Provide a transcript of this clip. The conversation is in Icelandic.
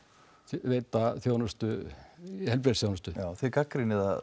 veita heilbrigðisþjónustu já þið gagnrýnið